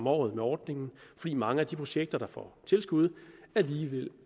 året med ordningen fordi mange af de projekter der får tilskud alligevel